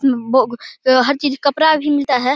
बो हर चीज कपड़ा भी मिलता है।